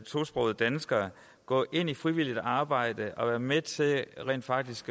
tosprogede danskere gå ind i frivilligt arbejde og være med til rent faktisk